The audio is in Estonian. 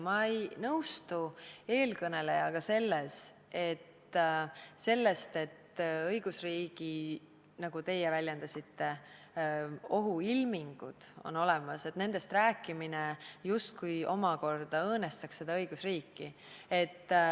Ma ei nõustu eelkõnelejaga selles, et õigusriigi ohuilmingutest – nagu teie väljendasite – rääkimine justkui omakorda õõnestaks seda õigusriiki.